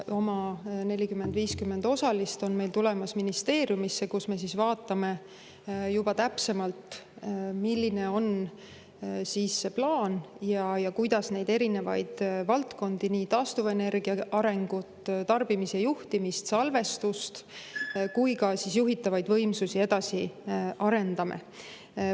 Oma 40–50 osalist on meil tulemas ministeeriumisse, kus me vaatame juba täpsemalt, milline on plaan ja kuidas neid erinevaid valdkondi, nii taastuva energia arengut, tarbimise juhtimist, salvestust kui ka juhitavaid võimsusi edasi arendada.